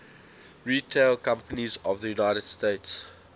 retail companies of the united states